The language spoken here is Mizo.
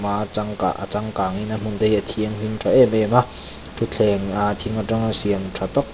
a a chang kah a changkang in a hmun te hi a thianghlim tha em em a thuthleng ah thing atanga siam tha tak--